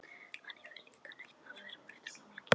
Hann hefur líka nautn af að herma eftir fólki.